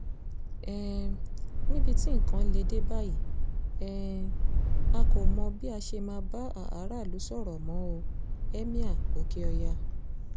um níbi tí nǹkan lè dé báyìí um a kò mọ bí a ṣe máa bá aráàlú sọ̀rọ̀ mọ́ o- emir oke-oya